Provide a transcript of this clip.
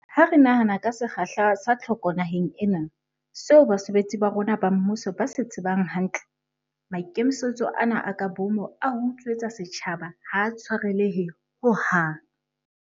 Ha re nahana ka sekgahla sa tlhoko naheng ena, seo basebetsi ba rona ba mmuso ba se tsebang hantle, maikemisetso ana a ka boomo a ho utswetsa setjhaba ha a tshwarelehe ho hang.